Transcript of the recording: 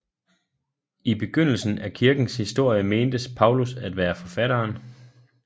I begyndelsen af kirkens historie mentes Paulus at være forfatteren